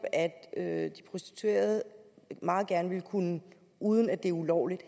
er at de prostituerede meget gerne uden uden at det er ulovligt